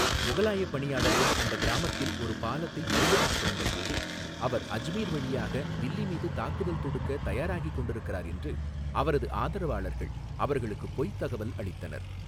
முகலாயப் பணியாளர்கள் அந்தக் கிராமத்தில் ஒரு பாலத்தைப் பழுதுபார்க்க வந்தபோது, அவர் அஜ்மீர் வழியாக தில்லி மீது தாக்குதல் தொடுக்கத் தயாராகிக் கொண்டிருக்கிறார் என்று அவரது ஆதரவாளர்கள் அவர்களுக்குப் பொய்த் தகவல் அளித்தனர்.